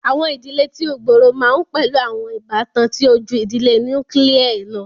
Awọn idile ti o gbooro ma n pẹlu awọn ibatan ti o ju idile nukiilie lọ.